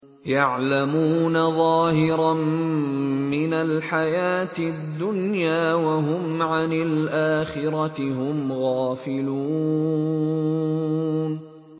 يَعْلَمُونَ ظَاهِرًا مِّنَ الْحَيَاةِ الدُّنْيَا وَهُمْ عَنِ الْآخِرَةِ هُمْ غَافِلُونَ